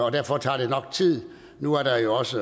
og derfor tager det nok tid nu er der også